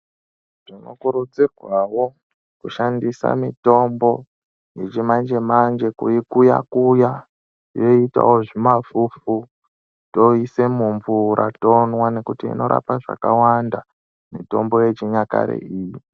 Tinokurudzirwawo kushandisa mitombo yechimanje manje kuikuya kuya yoitawo zvimafufu toise mumvura tonwa nekuti inorapa zvakawanda mitombo yechinyakare iyi.